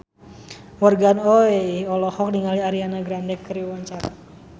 Morgan Oey olohok ningali Ariana Grande keur diwawancara